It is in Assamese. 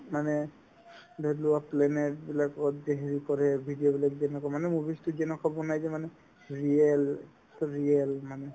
মানে ধৰিলোৱা planet বিলাকত যে হেৰি কৰে video বিলাক যেনেকুৱা মানে movies তো যেনেকুৱা বনাই যে মানে real real মানে